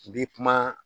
I bi kuma